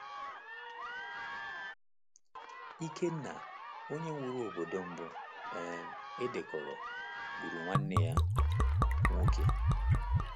Ikenna, onye wuru obodo mbụ um e dekọrọ, gburu nwanne ya nwoke.